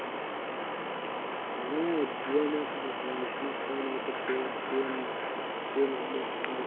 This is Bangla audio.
হ্যা JioMart বসেছে smartmart বসাইছে chain chain বসাইছে